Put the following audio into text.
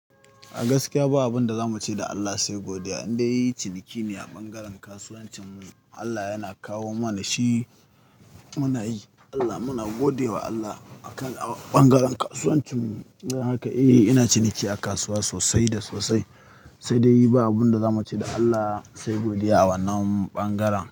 A gaskiya ba abin da zamu ce da Allah sai godiya. Indai ciniki ne a ɓangaren kasuwancin mu, Allah yana kawo mana shi muna yi. Allah muna godiya wa Allah akan a ɓangaren kasuwancin mu. Don haka eh ina ciniki a kasuwa sosai da sosai. Sai dai ba abin da zamu ce da Allah sai godiya a wannan ɓangaren.